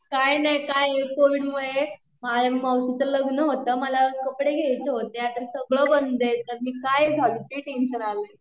काही नाही काय कोविडमुळे माझ्या मावशीच लग्न होतं मला कपडे घ्यायचे होते आता सगळं बंद आहे आता मी काय घालु ते टेंशन आलय